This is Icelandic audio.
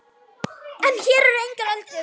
En hér eru engar öldur.